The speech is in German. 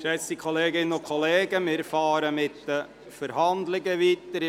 Geschätzte Kolleginnen und Kollegen, wir fahren mit den Verhandlungen weiter.